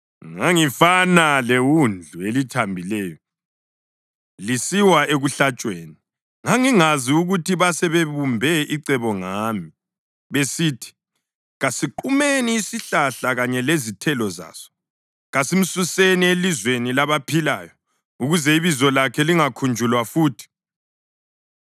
Ngangifana lewundlu elithambileyo lisiwa ekuhlatshweni; ngangingazi ukuthi basebebumbe icebo ngami, besithi, “Kasiqumeni isihlahla kanye lezithelo zaso; kasimsuseni elizweni labaphilayo, ukuze ibizo lakhe lingakhunjulwa futhi.”